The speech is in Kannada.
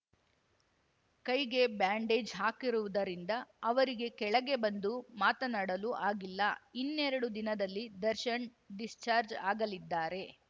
ಕೈಗೆ ಬ್ಯಾಂಡೇಜ್‌ ಹಾಕಿರುವುದರಿಂದ ಅವರಿಗೆ ಕೆಳಗೆ ಬಂದು ಮಾತಾಡಲು ಆಗಿಲ್ಲ ಇನ್ನೆರಡು ದಿನದಲ್ಲಿ ದರ್ಶನ್‌ ಡಿಸ್ಚಾರ್ಜ್ ಆಗಲಿದ್ದಾರೆ